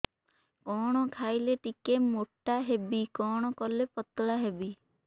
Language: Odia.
କଣ ଖାଇଲେ ଟିକେ ମୁଟା ହେବି କଣ କଲେ ପତଳା ହେବି